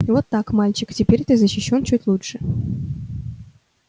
и вот так мальчик теперь ты защищён чуть лучше